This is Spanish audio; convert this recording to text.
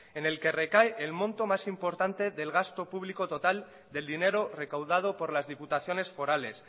en el que recae el monto más importante del gasto público total del dinero recaudado por las diputaciones forales